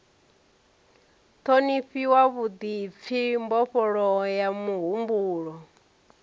ṱhonifhiwa vhuḓipfi mbofholowo ya muhumbulo